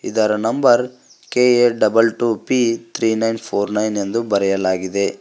ಇದರ number K A double two P three nine four nine ಎಂದು ಬರೆಯಲಾಗಿದೆ.